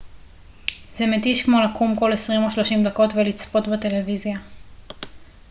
זה מתיש כמו לקום כל עשרים או שלושים דקות ולצפות בטלוויזיה